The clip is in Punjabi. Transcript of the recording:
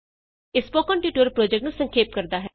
ਇਹ ਸਪੋਕਨ ਟਿਯੂਟੋਰਿਅਲ ਪੋ੍ਰਜੈਕਟ ਨੂੰ ਸੰਖੇਪ ਕਰਦਾ ਹੈ